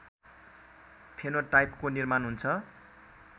फेनोटाइपको निर्माण हुन्छ।